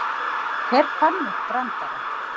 Hver fann upp brandarann?